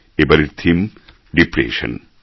এবারের theme depression